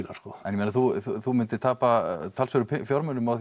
sko en ég meina þú þú myndir tapa talsverðum fjármunum á